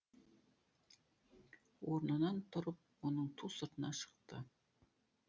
орнынан тұрып оның ту сыртына шықты